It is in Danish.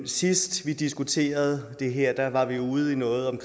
sidst vi diskuterede det her var vi ude i noget om